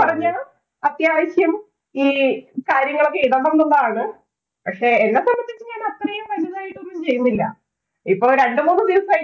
പറഞ്ഞാ അത്യാവശ്യം ഈ കാര്യങ്ങളൊക്കെ ഇടണം എന്നുള്ളതാണ്. പക്ഷേ, എന്നെ സംബന്ധിച്ച് ഞാന്‍ അത്രയും വലുതായിട്ടൊന്നും ചെയ്യുന്നില്ല. ഇപ്പൊ രണ്ടു മൂന്ന് ദിവസമായി